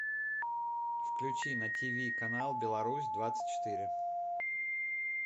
включи на тв канал беларусь двадцать четыре